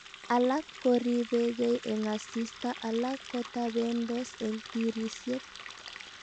Alak koribegei eng asista alak kotabendos eng tirisyet